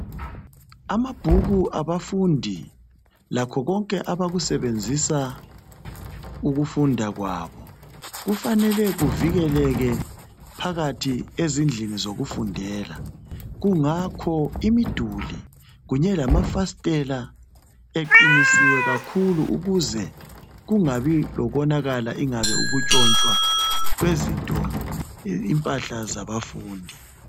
Amabhuku abafundi lakho konke abakusebenzisa ukufunda kwabo. Kufanele kuvikeleke phakathi ezindlini zokufundela. Kungakho imiduli kunye lamafasitela, eqinisiwe kakhulu, ukuze kungabi lokonakala, kumbe ukutshotshwa kwezinto, impahla zabafundi.